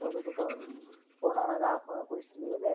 ಕೊರೊಡು ಕೊನೊನಗ ಆಪುನ ಖುಷಿಯೇ ಬೇತೆ.